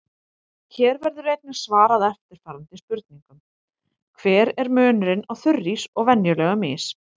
Hér verður einnig svarað eftirfarandi spurningum: Hver er munurinn á þurrís og venjulegum ís?